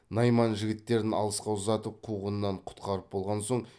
найман жігіттерін алысқа ұзатып қуғыннан құтқарып болған соң